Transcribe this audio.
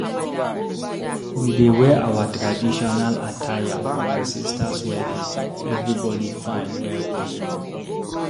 We dey wear our traditional attire for my sister's wedding, everybody fine well well.